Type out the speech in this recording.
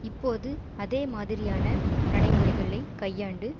இப்போது அதேமாதிரியான நடைமுறைகளை கையாண்டு